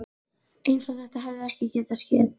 Eins og þetta hefði ekki getað skeð.